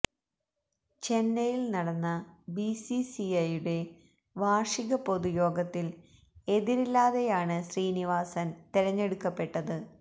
ചെന്നൈയില് നടന്ന B C C ഐയുടെ വാര്ഷിക പൊതുയോഗത്തില് എതിരില്ലാതെയാണ് ശ്രീനിവാസന് തെരഞ്ഞെടുക്കപ്പെട്ടത്